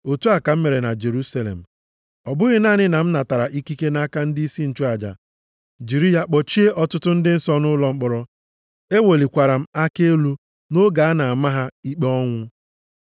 Otu a ka m mere na Jerusalem. Ọ bụghị naanị na m natara ikike nʼaka ndịisi nchụaja jiri ya kpọchie ọtụtụ ndị nsọ nʼụlọ mkpọrọ, ewelikwara m aka elu nʼoge a na-ama ha ikpe ọnwụ.